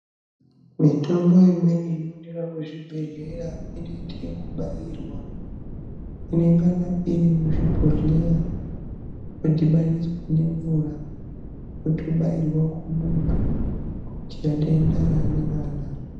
Mitombo imweni inoonekwa muzvibhedhlera inoite ekubairwa inengana iri muzvibhodhleya yodhibaniswa ngemvura yotobairwa kumuntu kuitira denda raanenga anaro.